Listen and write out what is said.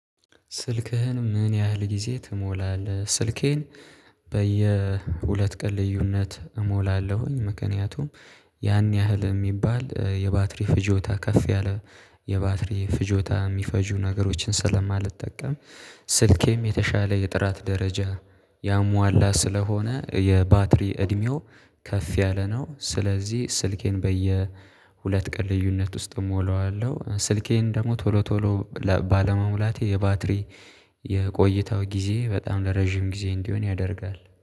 ስልክህን ምን ያህል ጊዜ ትሞላለህ? ስልኬን በየሁለት ቀን ልዩነት እሞላለሁኝ ምክንያቱም ያን ያህል የሚባል የባትሪ ፍጆታ ከፍ ያለ የባትሪ ፍጆታ የሚፈጁ ነገሮችን ስለማልጠቀም ስልኬም የተሻለ የጥራት ደረጃ ያሟላ ስለሆነ የባትሪ እድሜው ከፍ ያለ ነው ስለዚህ ስልኬን በየ ሁለት ቀን ልዩነት ውስጥ እሞላዋለሁ ስልኬን ደግሞ ቶሎ ቶሎ ባለመሙላቴ የባትሪ የቆይታው ጊዜ በጣም ለረጅም ጊዜ እንዲሆን ያደርጋል።